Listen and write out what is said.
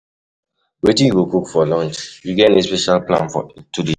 Wetin you go cook for lunch? You get any special plan today?